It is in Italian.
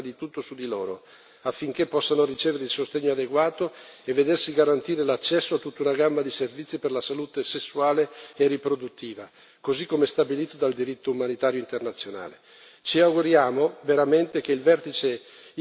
Per questo motivo l'azione umanitaria deve concentrarsi prima di tutto su di loro affinché possano ricevere il sostegno adeguato e vedersi garantire l'accesso a tutta una gamma di servizi per la salute sessuale e riproduttiva, così come stabilito dal diritto umanitario internazionale.